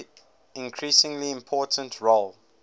increasingly important role